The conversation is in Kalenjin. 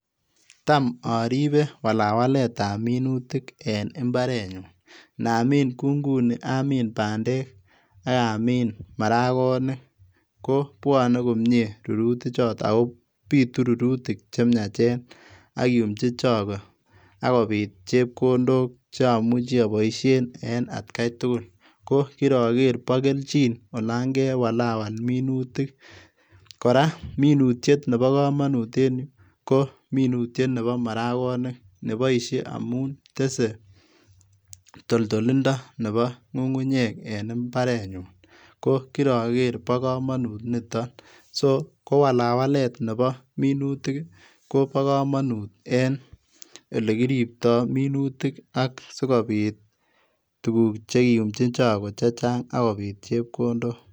Tam oripe walawaletab minutik en imbarenyun inamin kou nguni amin bendek ak amin marakonik kobwonen komie rurutichoton ako bitu rurutik chemiachen ak kiiyumchi chokoo ak kobit chepkondok cheomuchi oboisien en atkaitugul kokiroker bo kelchin olon kewalawa minutik, koraa minutiet nebo komonut kominutiet nebo marakonik neboisie amun tesee toltolindo en ngungunyek en imarenyun, kokiroker bo komonut niton, so kowalawalet nebo minutik kobo komonut en ole kiriptoo minutik ak sikobit chekiyumchin chokoo chechang ak kobit chepkondok.